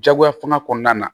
Jagoya fanga kɔnɔna na